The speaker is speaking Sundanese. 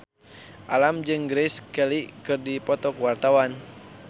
Alam jeung Grace Kelly keur dipoto ku wartawan